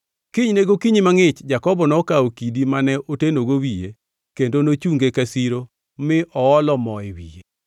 Kinyne gokinyi mangʼich Jakobo nokawo kidi mane otenogo wiye kendo nochunge ka siro mi oolo mo e wiye.